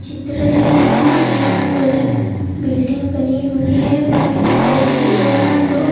चित्र है यहाँ एक बिल्डिंग बनी हुई है वाइट कलर की और यहाँ डो--